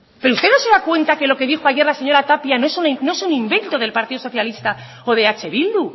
pero usted no se da cuenta de lo que dijo ayer la señora tapia no es un invento del partido socialista o de eh bildu